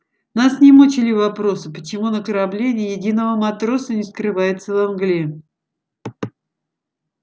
нас не мучили вопросы почему на корабле ни единого матроса не скрывается во мгле